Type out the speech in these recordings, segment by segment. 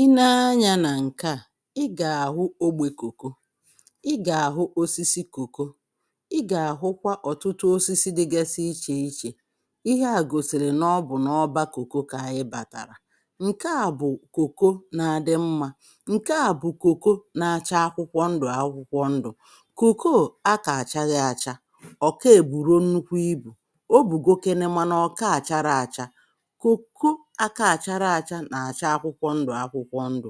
[uh]Ị nee anyȧ nà ǹke à, i gà-àhụ ogbè kòko, ị gà-àhụ osisi kòko, ị gà-àhụkwa ọ̀tụtụ osisi dịgasị ichè ichè, ihe à gòsìrì nà ọ bụ̀ nà ọbȧ kòko kà ayị bàtàrà, ǹke à bụ̀ kòko na-adị mmȧ ǹke à bụ̀ kòko na-acha akwụkwọ ndụ̀ akwụkwọ ndụ̀, kòkoo a kà aghaghị acha ọ̀ ke èbùrọ nnukwu ibù o bùgokene mȧ nà ọ̀ka àchara àcha. Koko aka-achara acha na acha akwụkwọ ndụ akwụkwọ ndụ,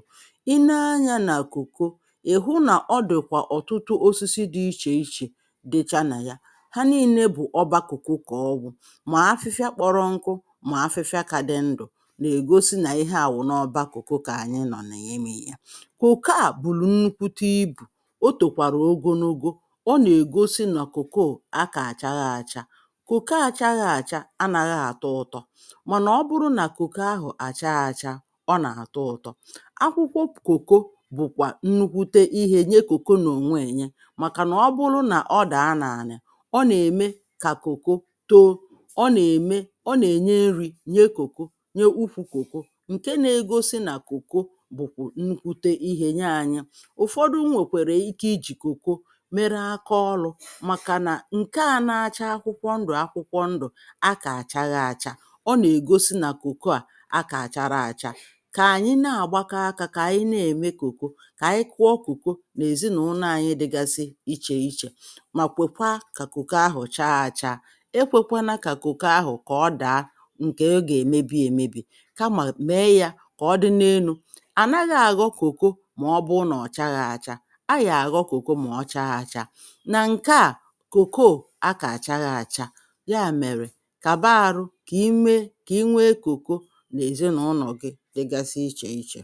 i nee anyȧ nà koko ì hụ nà ọ dị̀kwà ọ̀tụtụ osisi dị ichè ichè dị cha nà ya ha nine bụ̀ ọba kokoo kaọ bụ mà afịfịa kpọrọ nkụ mà afịfịa kà dị ndụ̀ nà-ègosi nà ihe à wụ̀ n’ọba koko kà ànyị nọ n'imi̇ yȧ. Koko à bụrụ nnukwute ibù o tòkwàrà ogonogo ọ nà-ègosi na koko a kà àchaghị achȧ, koko àchaghị àcha a nàghị atọ ụtọ, mànà ọ bụrụ nà koko ahụ a chaa achaa ọ na-atọ ụtọ. Akwụkwọ koko bụ̀kwà nnukwute ihe nye koko nà ọnwee nye màkà nà ọ bụlụ nà ọ dà a n’anị ọ nà-ème kà koko too, ọ nà-ème ọ nà-ènye nri̇ nye koko nye ukwu koko ǹke nȧ-egosi nà koko bụ̀kwụ̀ nnukwute ihe nye anyị, ụ̀fọdụ nwèkwàrà ike i jì koko mere aka ọlụ̇ màkà nà ǹke a nȧ-acha akwụkwọ ndụ̀ akwụkwọ ndụ̀ a kà àchaghị achȧ ọ nà-ègosi nà koko à kà achara acha. Ka ànyị na-àgbakọ akȧ kà ànyị na-ème kòkò kà ànyị kụọ kòkò nà èzinàụlọ anyị dịgasi ichè ichè, mà kwèkwaa kà kòkò ahụ̀ chaa àcha ekwèkwanȧ kà kòkò ahụ̀ kà ọ dàa ǹkè ọ gà-èmebi èmebì kamà mèe yȧ kà ọ dị na-enu̇. Anaghị àghọ kòkò mà ọ bụụ nà ọ̀ chaghị àchȧ ayà àghọ kòkò mà ochaa àchȧ, nà ǹke à kòkò o akà àchaghị àchȧ ya mèrè kàba àrụ kimė ki inwee kòkò n'ezi na ụnọ gị dịgasị iche iche.